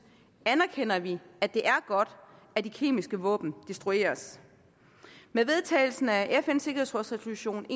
anerkender vi at det er godt at de kemiske våben destrueres med vedtagelsen af fns sikkerhedsråds resolution